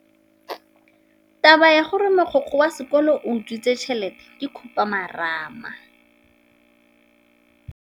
Taba ya gore mogokgo wa sekolo o utswitse tšhelete ke khupamarama.